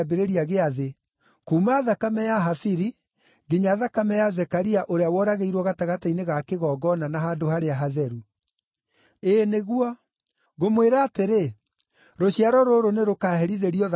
kuuma thakame ya Habili nginya thakame ya Zekaria ũrĩa woragĩirwo gatagatĩ-inĩ ga kĩgongona na handũ harĩa hatheru. Ĩĩ nĩguo, ngũmwĩra atĩrĩ, rũciaro rũrũ nĩrũkaherithĩrio thakame ĩyo.